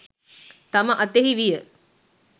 තම අතෙහි විය.